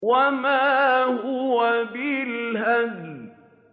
وَمَا هُوَ بِالْهَزْلِ